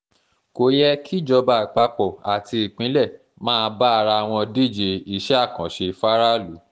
kò yẹ kíjọba àpapọ̀ àti ìpínlẹ̀ máa bá ara àwọn díje iṣẹ́ àkànṣe fáráàlú